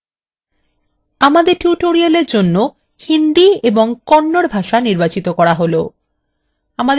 আমাদের tutorial for জন্য hindi এবং kannada ভাষা নির্বাচিত করা হলো